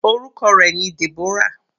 Orúkọ rẹ̀ ni Deborah.